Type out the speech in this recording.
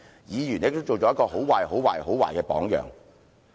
議員亦都做了一個很壞、很壞、很壞的榜樣。